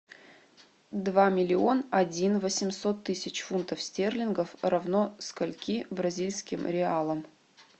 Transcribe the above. два миллион один восемьсот тысяч фунтов стерлингов равно скольки бразильским реалам